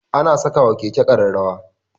Ana sakawa Keke kararrawa